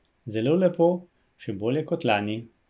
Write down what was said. Zelo lepo, še bolje kot lani.